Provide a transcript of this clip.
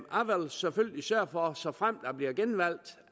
selvfølgelig sørge for såfremt jeg bliver genvalgt